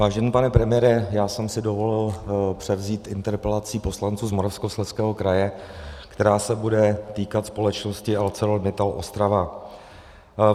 Vážený pane premiére, já jsem si dovolil převzít interpelaci poslanců z Moravskoslezského kraje, která se bude týkat společnosti ArcelorMittal Ostrava.